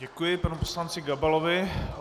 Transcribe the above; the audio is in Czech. Děkuji panu poslanci Gabalovi.